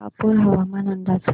शहापूर हवामान अंदाज